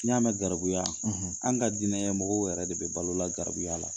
N'i y'a mɛn garibuya, an ka diinɛ ɲɛmɔgɔw yɛrɛ de bɛ balola garibuya la!